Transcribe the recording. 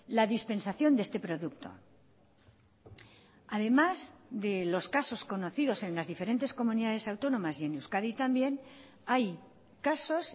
la dispensación de este producto además de los casos conocidos en las diferentes comunidades autónomas y en euskadi también hay casos